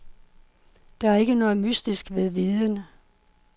Der er ikke noget mystisk ved viden.